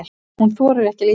Hún þorir ekki að líta við.